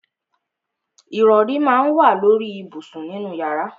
Ìrọrí má ń wà lóri ìbùsùn nínú yàrá.